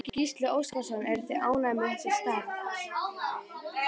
Gísli Óskarsson: Eruð þið ánægðir með þá stærð?